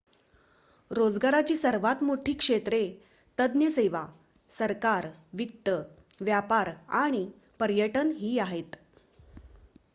रोजगाराची सर्वात मोठी क्षेत्रे तज्ञ सेवा सरकार वित्त व्यापार आणि पर्यटन ही आहेत